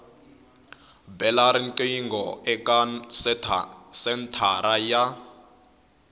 bela riqingho eka senthara ya